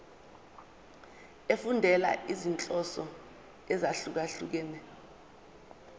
efundela izinhloso ezahlukehlukene